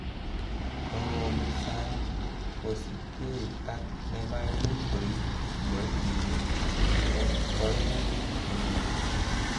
Kokobut sang, kosiibge ak nemaimuch korib kiboitinik en koimutik che nyoru.